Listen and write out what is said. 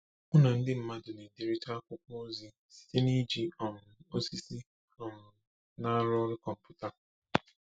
Mụ na ndị mmadụ na-ederịta akwụkwọ ozi site n'iji um osisi um na-arụ ọrụ kọmputa.